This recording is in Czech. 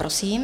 Prosím.